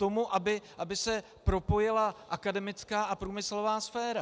Tomu, aby se propojila akademická a průmyslová sféra.